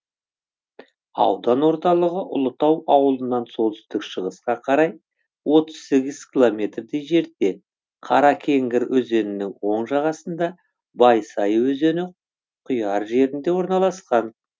аудан орталығы ұлытау ауылынан солтүстік шығысқа қарай отыз сегіз километрдей жерде қаракеңгір өзенінің оң жағасында байсай өзені құяр жерінде орналасқан